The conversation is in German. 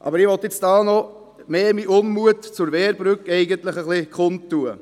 Ich will hier aber mehr meinen Unmut zur Wehrbrücke kundtun: